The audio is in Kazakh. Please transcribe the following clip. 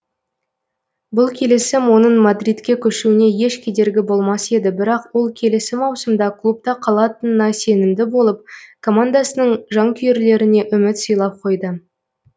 бұл келісім оның мадридке көшуіне еш кедергі болмас еді бірақ ол келесі маусымда клубта қалатынына сенімді болып командасының жанкүйерлеріне үміт сыйлап қойды